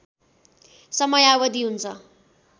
समयावधि हुन्छ